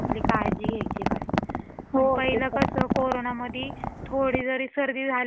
पहिल कस कोरोंना मधी थोडी जरी सर्दी झाली ना की माणस घाबरत होती की बापरे